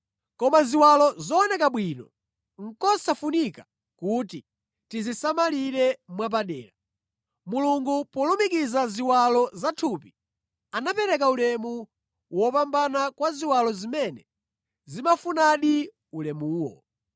Koma ziwalo zooneka bwino, nʼkosafunika kuti tizisamalire mwapadera. Mulungu polumikiza ziwalo zathupi, anapereka ulemu wopambana kwa ziwalo zimene zimafunadi ulemuwo